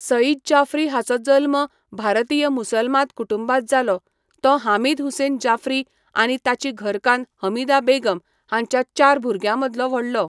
सईद जाफ्री हाचो जल्म भारतीय मुसलमान कुटुंबांत जालो, तो हामीद हुसेन जाफ्री आनी ताची घरकान्न हमीदा बेगम हांच्या चार भुरग्यांमदलो व्हडलो.